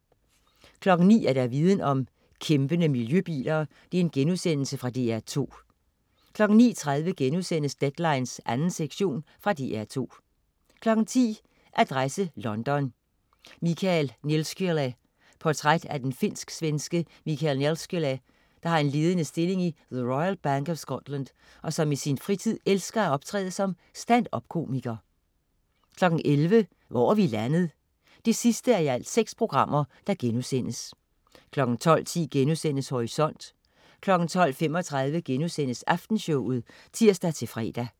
09.00 Viden om: Kæmpende miljøbiler.* Fra DR2 09.30 Deadline 2. sektion.* Fra DR2 10.00 Adresse London: Michael Nelskylä. Portræt af den finsk-svenske Michael Nelskylä, der har en ledende stilling i The Royal Bank of Scotland, og som i sin fritid elsker at optræde som stand-up-komiker 11.00 Hvor er vi landet? 6:6* 12.10 Horisont* 12.35 Aftenshowet* (tirs-fre)